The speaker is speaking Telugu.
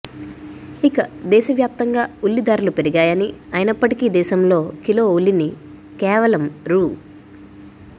ఇక దేశవ్యాప్తంగా ఉల్లి ధరలు పెరిగాయని అయినప్పటికీ దేశంలో కిలో ఉల్లిని కేవలం రూ